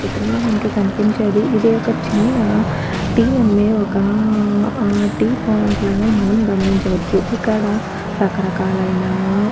చిత్రంలో మనకి కనిపించేది ఇది ఒక్క చిన్న టీ అమ్మే ఒక్కా పాయింట్ లాగా మనం గమనించవచ్చు ఇక్కడ రకరకాలైన.